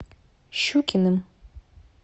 щукиным